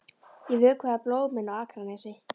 Ég vökvaði blómin á Akranesi.